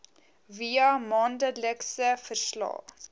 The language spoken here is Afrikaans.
via maandelikse verslae